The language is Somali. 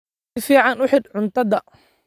Si fiican u xidh cuntada.